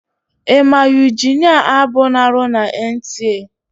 Ị ma Yuginia Abu na-arụ na Entiee?